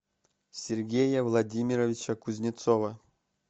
сергея владимировича кузнецова